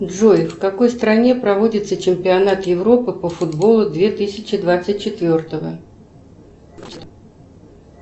джой в какой стране проводится чемпионат европы по футболу две тысячи двадцать четвертого